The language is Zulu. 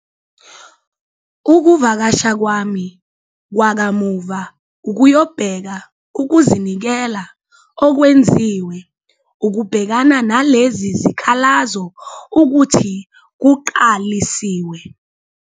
Ukuvakasha kwami kwakamuva ukuyobheka ukuzinikela okwenziwe ukubhekana nalezi zikhalazo ukuthi kuqalisiwe.